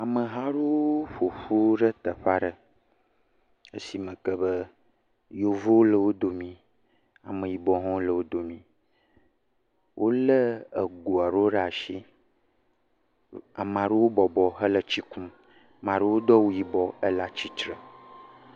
Ameha aɖewo ƒoƒu ɖe teƒe aɖe, esime ke be yevuwo le wo dome, ameyibɔwo hã le wo dome. Wolé ego aɖewo ɖe asi, ame aɖewo bɔbɔ hele tsi kum, ame aɖewo do awu yibɔ ele atsatsitre.